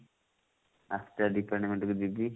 department କୁ ଯିବି